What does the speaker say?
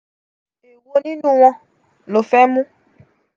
e wo ninu won lo fe mu?